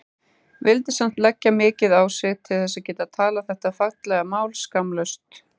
Vildi samt leggja mikið á sig til þess að geta talað þetta fallega mál skammlaust.